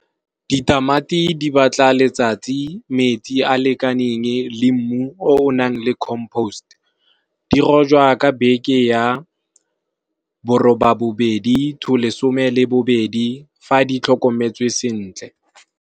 Ditamati di batla letsatsi, metsi a lekaneng le mmu o o nang le compost dirojwa ka beke ya bo roba bo bedi to lesome le bobedi fa di tlhokometswe sentle.